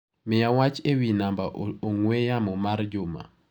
Miya wach ewi namba ong'ue yamo mar Juma.